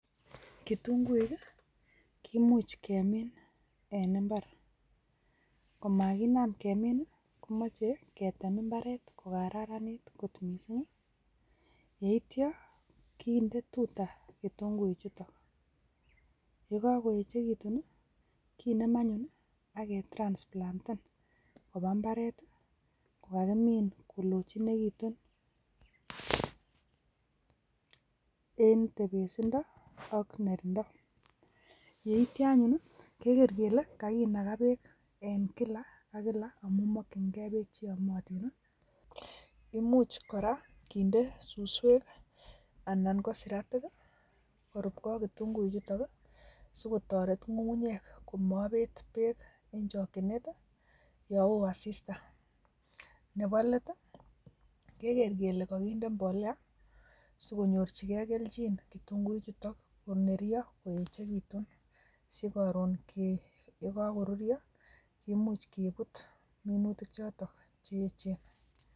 Kitunguik kimuch kemin en imbaar, komakinaam kemin komoche ketem imbaret kokararanit kit missing. Yeityoo kindee tutaa kitunguichutok, yekakoyechekutun kineem anyun ak kisiptoo koba mbaret ,kokamin kolochinekitun. En tebesindoo ak nerta yeityoo anyun keger kele kakinagaa beek en kila ak kills amun mokyingei beek cheyomotiin. Imuch kora kinde suswek anan ko siratik koruogei ak kitunguichutok sikotoretgei ak ngungunyek komobeet beek en chokchinet i yon woo asistaa. Nebo let i,kegeer kele kokinde mbolea sikonyorchigei kelchin kitunguichutok koneryoo koekitun sikoron yekoruryoo kimuch kebut minutikchoton cheyeechen.